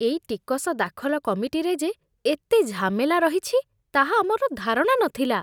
ଏଇ ଟିକସ ଦାଖଲ କାମଟିରେ ଯେ ଏତେ ଝାମେଲା ରହିଛି, ତାହା ଆମର ଧାରଣା ନଥିଲା!